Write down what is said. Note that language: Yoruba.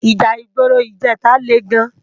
Íjà igbóró ijètá lé gán